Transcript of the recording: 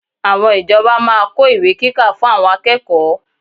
Àwọn ìjọba máa kó ìwé kíkà fún àwọn akẹ́kọ̀ọ́